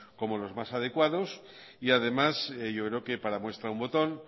como los más adecuados y además yo creo que para muestra un botón